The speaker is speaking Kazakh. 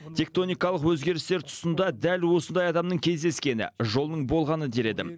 тектоникалық өзгерістер тұсында дәл осындай адамның кездескені жолының болғаны дер едім